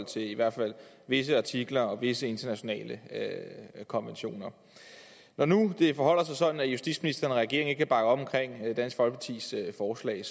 til i hvert fald visse artikler og visse internationale konventioner når nu det forholder sig sådan at justitsministeren og regeringen ikke kan bakke op om dansk folkepartis forslag